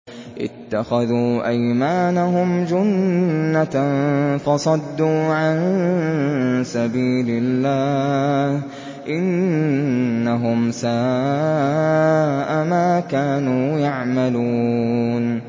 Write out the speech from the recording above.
اتَّخَذُوا أَيْمَانَهُمْ جُنَّةً فَصَدُّوا عَن سَبِيلِ اللَّهِ ۚ إِنَّهُمْ سَاءَ مَا كَانُوا يَعْمَلُونَ